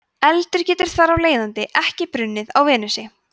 eldur getur þar af leiðandi ekki brunnið á venusi